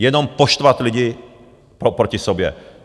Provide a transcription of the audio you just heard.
Jenom poštvat lidi proti sobě.